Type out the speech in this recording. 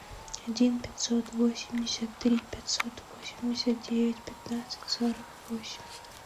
один пятьсот восемьдесят три пятьсот восемьдесят девять пятнадцать сорок восемь